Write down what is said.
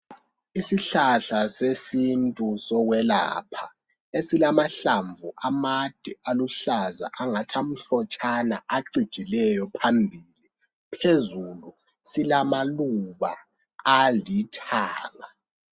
Isihlahla sesintu sokwelapha esilamahlamvu amade aluhlaza angathi amhlotshana acijileyo phambili phezulu silama silamaluba alithanga